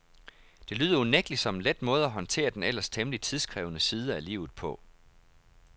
Det lyder unægtelig som en let måde at håndtere den ellers temmelig tidskrævende side af livet på.